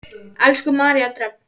Elsku María Dröfn.